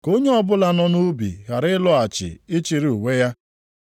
Ka onye ọbụla nọ nʼubi ghara ịlọghachi ịchịrị uwe ya.